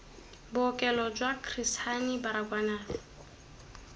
bookelo jwa chris hani baragwanath